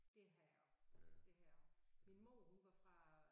Det har jeg også det har jeg også. Min mor hun var fra